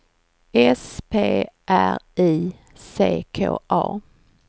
S P R I C K A